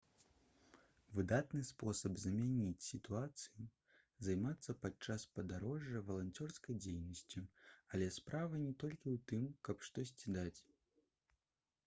выдатны спосаб змяніць сітуацыю займацца падчас падарожжа валанцёрскай дзейнасцю але справа не толькі ў тым каб штосьці даць